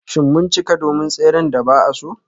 Shin mun cika don tseren da ba a so?